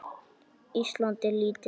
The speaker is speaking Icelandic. Ísland er lítið land.